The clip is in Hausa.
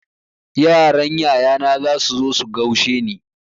Yaran yayana zasu zo su gaushe ni.